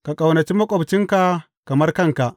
Ka ƙaunaci maƙwabcinka kamar kanka.’